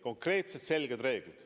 Konkreetsed selged reeglid.